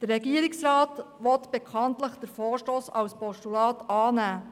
Der Regierungsrat will bekanntlich den Vorstoss als Postulat annehmen.